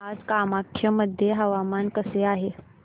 आज कामाख्या मध्ये हवामान कसे आहे